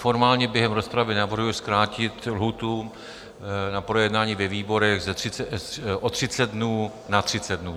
Formálně během rozpravy navrhuji zkrátit lhůtu na projednání ve výborech o 30 dnů na 30 dnů.